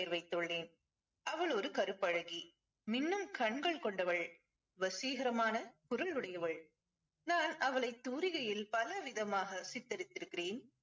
வைத்துள்ளேன். அவள் ஒரு கருப்பழகி. மின்னும் கண்கள் கொண்டவள். வசீகரமான குரல் உடையவள். நான் அவளை தூரிகையில் பலவிதமாக சித்தரித்திருக்கிறேன்.